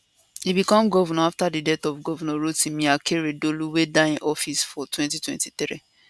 e become governor afta di death of governor rotimi akeredolu wey die in office for 2023